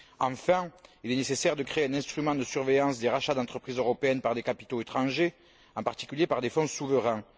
Enfin, il nécessaire de créer un instrument de surveillance des rachats d'entreprises européennes par des capitaux étrangers, en particulier par des fonds souverains.